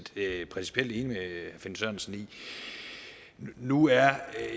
principielt enig med herre finn sørensen i nu er jeg